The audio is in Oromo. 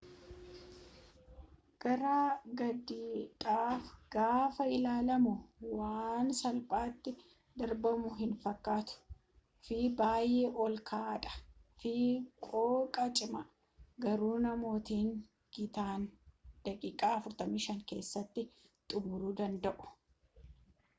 gara gadiidha gaafa ilaalamu waan salphaati darbamu hin fakkatu fi baayee ol ka'aa dha fi qooqa cimaa garuu namootni gitaan daqiiqa 45 keessatti xumuru danda'u